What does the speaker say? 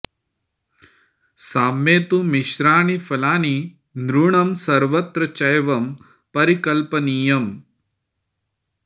साम्ये तु मिश्राणि फलानि नृनं सर्वत्र चैवं परिकल्पनीयम्